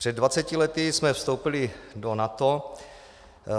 Před 20 lety jsme vstoupili do NATO.